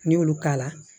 N'i y'olu k'a la